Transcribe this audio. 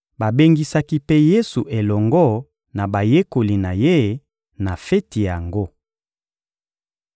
Babengisaki mpe Yesu elongo na bayekoli na Ye na feti yango.